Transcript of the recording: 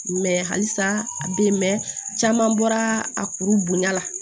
Mɛ halisa a bɛ yen mɛn caman bɔra a kuru bonya la